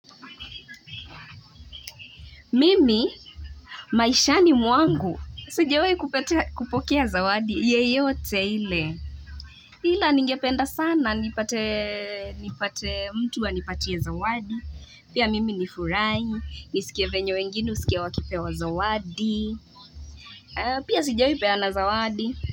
Mimi maishani mwangu. Sijawai kupokea zawadi yeyote ile. Ila ningependa sana nipate mtu wanipatie zawadi. Pia mimi nifurahi. Nisikie venye wengine husikia wakipewa zawadi. Pia sijawai peana zawadi.